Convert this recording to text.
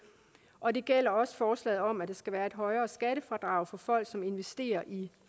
og det gælder også forslaget om at der skal være et højere skattefradrag for folk som investerer i